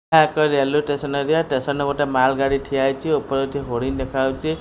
ଏହା ଏକ railway station area station ରେ ଗୋଟେ ମାଲ ଗାଡି ଠିଆ ହେଇଚି ଉପରେ ଏଠି ହୋଡ଼ିଂ ଦେଖା ଯାଉଚି।